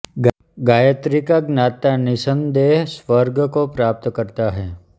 गायत्री का ज्ञाता निसन्देह स्वर्ग को प्राप्त करता है